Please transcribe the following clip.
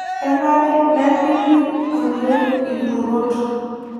Kenare nerripi naleng' ilturot